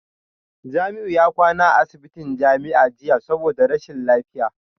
Jamiu ya kwana a asibitin jami'a jiya saboda rashin lafiya